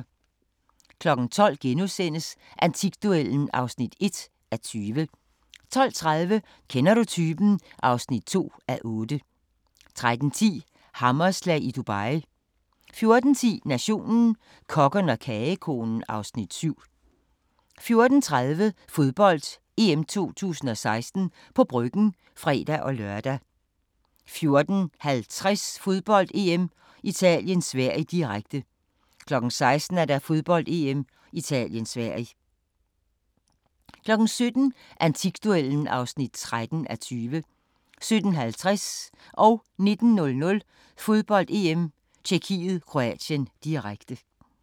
12:00: Antikduellen (1:20)* 12:30: Kender du typen? (2:8) 13:10: Hammerslag i Dubai 14:10: Nationen – Kokken og kogekonen (Afs. 7) 14:30: Fodbold: EM 2016 – på Bryggen (fre-lør) 14:50: Fodbold: EM - Italien-Sverige, direkte 16:00: Fodbold: EM - Italien-Sverige 17:00: Antikduellen (13:20) 17:50: Fodbold: EM -Tjekkiet-Kroatien, direkte 19:00: Fodbold: EM -Tjekkiet-Kroatien, direkte